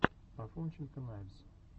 афонченко найвз